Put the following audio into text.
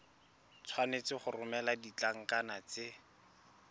tshwanetse go romela ditlankana tse